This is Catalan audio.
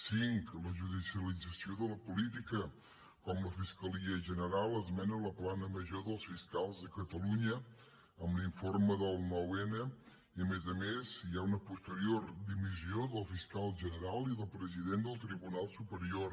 cinc la judicialització de la política com la fiscalia general esmena la plana major dels fiscals de catalunya amb l’informe del nou n i a més a més hi ha una posterior dimissió del fiscal general i del president del tribunal superior